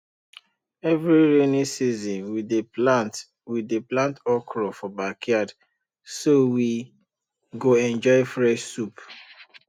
every rainy season we dey plant we dey plant okra for backyard so we go enjoy fresh soup